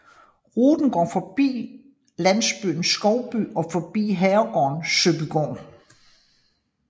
Ruten går forbi landsbyen Skovby og forbi herregården Søbygaard